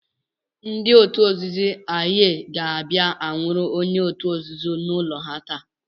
Ndị otu nzuzo Aye ga-abịa anwụrụ onye otu ha n'ụlọ ha taa.